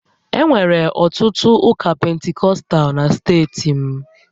Enwere ọtụtụ ụka Pentikọstal na steeti m